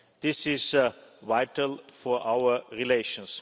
This is vital for our relations.